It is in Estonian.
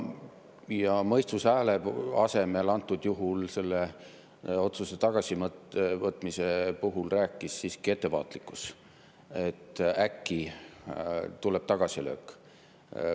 Ja mõistuse hääle asemel rääkis antud juhul selle otsuse tagasivõtmise puhul siiski ettevaatlikkus, et äkki tuleb tagasilöök.